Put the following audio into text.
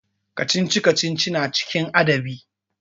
Kacici-kacici na cikin adabi.